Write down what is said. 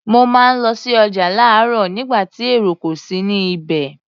Mo máa ń lọ sí ọjà láròóò nígbà tí èrò kò sí ní ibẹ̀